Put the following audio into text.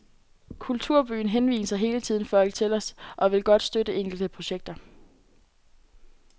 Kulturbyen henviser hele tiden folk til os og vil godt støtte enkelte projekter.